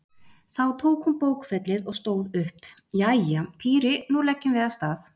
Þá tók hún bókfellið og stóð upp: Jæja, Týri nú leggjum við af stað